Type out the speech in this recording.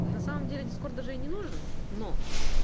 на самом деле дискорд даже и не нужен но